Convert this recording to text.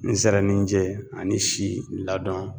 Nsɛrɛninjɛ ani si ladɔn